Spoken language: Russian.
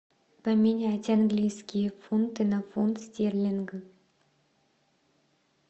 поменять английские фунты на фунт стерлинг